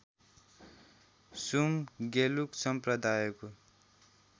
सुम गेलुक सम्प्रदायको